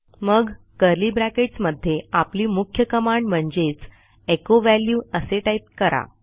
मग curly brackets मध्ये आपली मुख्य कमांड म्हणजेच एचो व्हॅल्यू असे टाईप करा